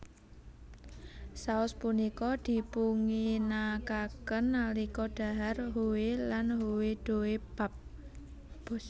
Saos punika dipunginakaken nalika dhahar hoe lan hoedeopbap